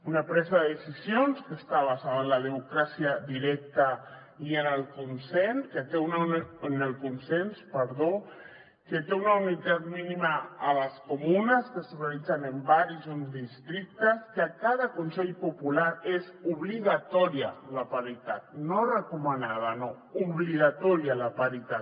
una presa de decisions que està basada en la democràcia directa i en el consens que té una unitat mínima a les comunes que s’organitzen en barris o en districtes que a cada consell popular és obligatòria la paritat no recomanada no obligatòria la paritat